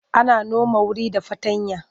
Ana noma wuri da fartanya.